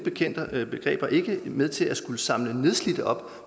begreber ikke være med til at samle nedslidte op